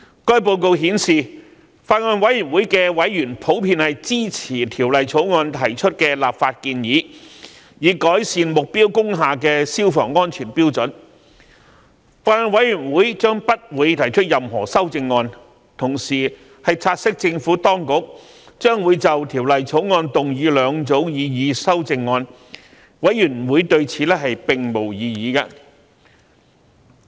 該報告顯示，法案委員會的委員普遍支持《條例草案》提出的立法建議，以改善目標工廈的消防安全標準，法案委員會將不會提出任何修正案；委員同時察悉政府當局將會就《條例草案》提出兩組擬議修正案，法案委員會對此並無異議。